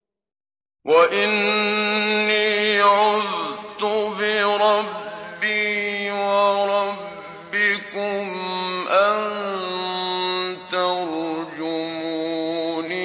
وَإِنِّي عُذْتُ بِرَبِّي وَرَبِّكُمْ أَن تَرْجُمُونِ